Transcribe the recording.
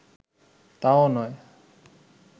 তাও নয়